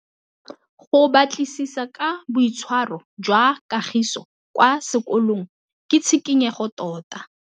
Go batlisisa ka boitshwaro jwa Kagiso kwa sekolong ke tshikinyêgô tota.